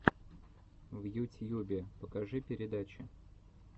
в ютьюбе покажи передачи